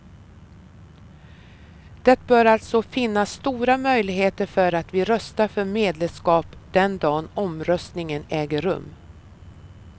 Det bör alltså finnas stora möjligheter för att vi röstar för medlemskap den dag omröstningen äger rum.